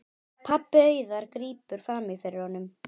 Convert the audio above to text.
Pabbi Auðar grípur fram í fyrir honum.